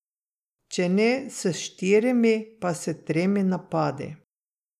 Če ne s štirimi, pa s tremi napadi.